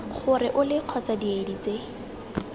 gore ole kgotsa diedi tse